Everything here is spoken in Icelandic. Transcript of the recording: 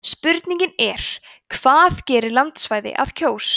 spurningin er hvað gerir landsvæði að kjós